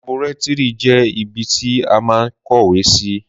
Làbúẹrí jẹ ìbítì à má ń kówè sí